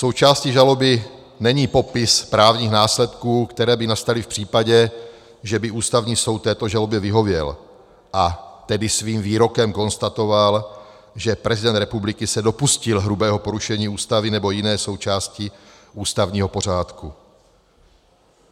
Součástí žaloby není popis právních následků, které by nastaly v případě, že by Ústavní soud této žalobě vyhověl, a tedy svým výrokem konstatoval, že prezident republiky se dopustil hrubého porušení Ústavy nebo jiné součásti ústavního pořádku.